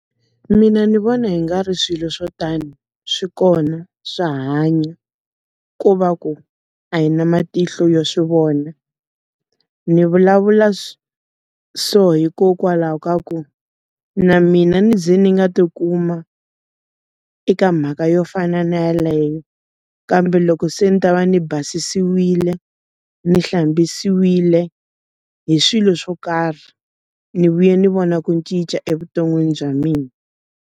Mina ndzi vona hi nga ri swilo swo tani swi kona swa hanya. Ku va ku, a hi na matihlo yo swi vona. Ni vulavula so hikokwalaho ka ku, na mina ndzi ni nga ti kuma eka mhaka yo fana na yaleyo. Kambe loko se ni ta va ni basisiwile ni hlambisiwile hi swilo swo karhi, ni vuye ni vona ku ni cinca evuton'wini bya mina.